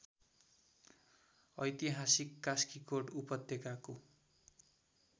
ऐतिहासिक कास्कीकोट उपत्यकाको